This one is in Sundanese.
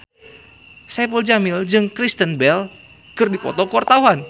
Saipul Jamil jeung Kristen Bell keur dipoto ku wartawan